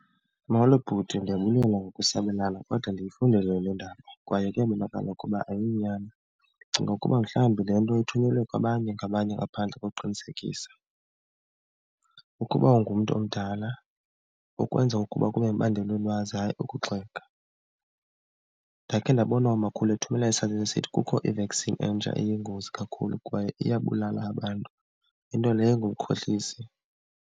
Molo bhuti, ndiyabulela ngokusabelana kodwa ndiyifundile le ndaba kwaye kuyabonakala ukuba ayonyani. Ndicinga ukuba mhlawumbi le nto ithunyelwe kwabanye ngabanye ngaphandle kokuqinisekisa. Ukuba ungumntu omdala ukwenza ukuba kube mibandela ulwazi hayi ukukugxeka. Ndakhe ndabona umakhulu ethumela esithi kukho i-vaccine entsha eyingozi kakhulu kwaye iyabulala abantu, into leyo engumkhohlisi.